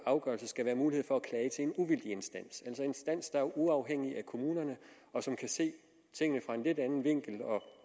afgørelse skal være mulighed for at klage til en uvildig instans en instans der er uafhængig af kommunerne og som kan se tingene fra en lidt anden vinkel og